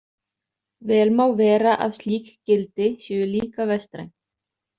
Vel má vera að slík gildi séu líka vestræn.